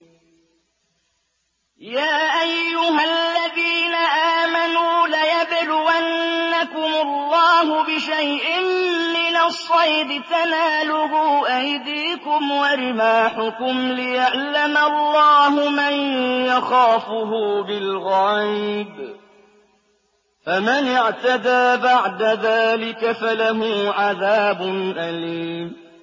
يَا أَيُّهَا الَّذِينَ آمَنُوا لَيَبْلُوَنَّكُمُ اللَّهُ بِشَيْءٍ مِّنَ الصَّيْدِ تَنَالُهُ أَيْدِيكُمْ وَرِمَاحُكُمْ لِيَعْلَمَ اللَّهُ مَن يَخَافُهُ بِالْغَيْبِ ۚ فَمَنِ اعْتَدَىٰ بَعْدَ ذَٰلِكَ فَلَهُ عَذَابٌ أَلِيمٌ